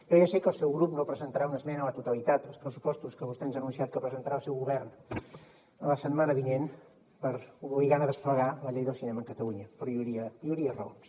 jo ja sé que el seu grup no presentarà una esmena a la totalitat als pressupostos que vostè ens ha anunciat que presentarà el seu govern la setmana vinent per obligar a desplegar la llei del cinema a catalunya però hi hauria raons